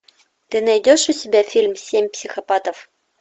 ты найдешь у себя фильм семь психопатов